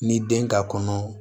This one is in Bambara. Ni den ka kɔnɔ